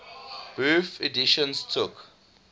bofh editions took